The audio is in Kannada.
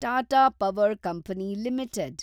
Tata Power Company limited